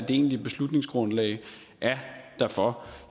egentlige beslutningsgrundlag er derfor